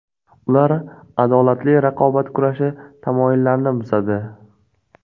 Ular adolatli raqobat kurashi tamoyillarini buzadi.